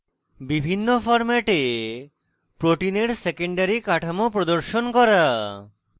বিভিন্ন ফরম্যাটে proteins secondary কাঠামো প্রদর্শন করা